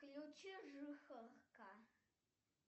включи жихарка